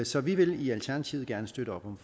så vi vil i alternativet gerne støtte op om